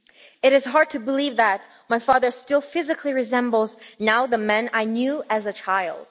It is hard to believe that my father still physically resembles now the man I knew as a child.